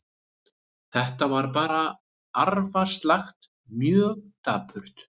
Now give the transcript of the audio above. Þetta var bara arfaslakt, mjög dapurt.